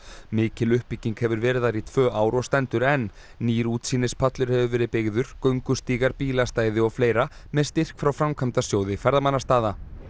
mikil uppbygging hefur verið þar í tvö ár og stendur enn nýr útsýnispallur hefur verið byggður göngustígar bílastæði og fleira með styrk frá Framkvæmdasjóði ferðamannastaða